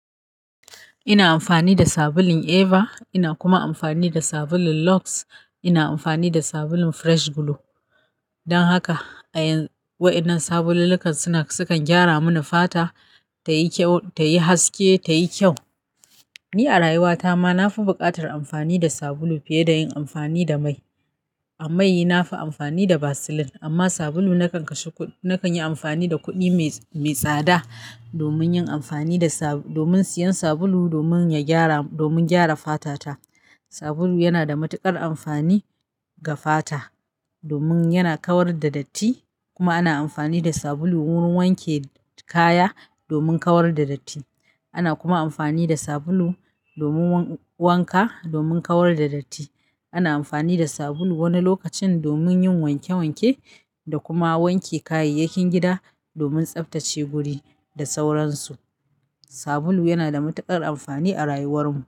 Ina amfani da sabulun Eva, ina kuma amfani da sabulun Lux, ina amfani da sabulun Fresh Glow. Don haka a yanzu waɗannan sabululluka suna, sukan gyara mini fata tayi ƙyau, tayi haske, tayi ƙyau. Ni a rayuwata ma nafi buƙatar amfani da sabulu fiye da yin amfani da mai. A mai nafi amfani da Vaseline amma sabulu nakan kashe kuɗi, na kanyi amfani da kuɗi mai, mai tsada domin yin amfani da sa--, domin siyan sabulu, domin ya gyara, domin gyara fatata. Sabulu yana da matuƙar amfani ga fata domin yana kawar da datti kuma ana amfani da sabulu wurin wanke kaya domin kawar da datti. Ana kuma amfani da sabulu domin wanka, domin kawar da datti. Ana amfani da sabulu wani lokacin domin yin wanke wanke da kuma wanke kayayyakin gida domin tsaftace guri da sauransu. Sabulu yanada matuƙar amfani a rayuwar mu.